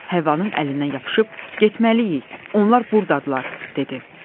Həvvanın əlindən yapışıb getməliyik, onlar burdadırlar, dedi.